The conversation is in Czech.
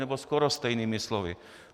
Nebo skoro stejnými slovy.